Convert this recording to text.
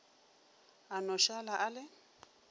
a no šala a le